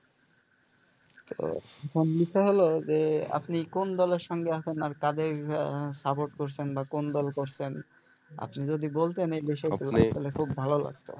তো এখন বিষয় হল যে আপনি কোন দলের সঙ্গে আছেন আর কাদের support করসেন বা কোন দল করছেন আপনি যদি বলতেন এই বিষয়গুলো তাহলে খুব ভালো লাগতো।